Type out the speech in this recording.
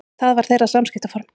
Það var þeirra samskiptaform.